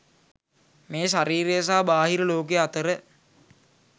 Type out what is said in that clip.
මේ ශරීරය සහ බාහිර ලෝකය අතර